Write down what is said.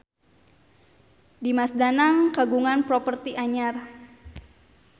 Dimas Danang kagungan properti anyar